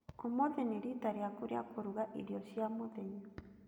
Ũmũthĩ nĩ rita rĩaku rĩa kũrũga irio cia mũthenya.